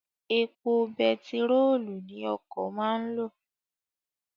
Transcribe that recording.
Èpo bentirolu ni okọ̀ máa ń lo